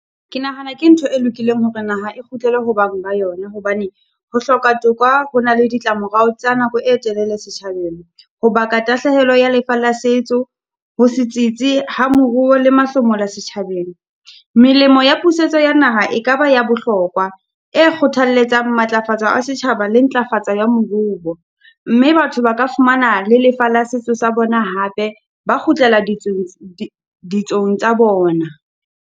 Ke nahana ke ntho e lokileng hore naha e kgutlele ho bang ba yona, hobane ho hloka toka ho na le ditlamorao tsa nako e telele setjhabeng. Ho baka tahlehelo ya lefa la setso, ho se tsitsi ha moruo le mahlomola setjhabeng. Melemo ya puseletso ya naha e ka ba ya bohlokwa, e kgothalletsang matlafatsa a setjhaba le ntlafatsa ya moruo, mme batho ba ka fumana le lefa la setso sa bona hape, ba kgutlela ditsong ditsong tsa bona.